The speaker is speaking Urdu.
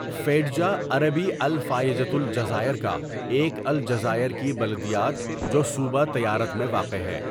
فیڈجا عربی الفايجة الجزائر کا ایک الجزائر کی بلدیات جو صوبہ تیارت میں واقع ہے.